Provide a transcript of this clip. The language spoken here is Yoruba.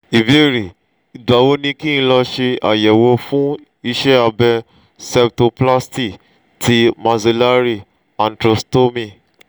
ìbéèrè: igba wo ni kin lo se ayewo fun ise abe septoplasty ti maxillary antrostomy?